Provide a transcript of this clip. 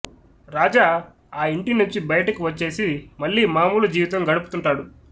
రాజా ఆ ఇంటి నుంచి బయటకు వచ్చేసి మళ్ళీ మామూలు జీవితం గడుపుతుంటాడు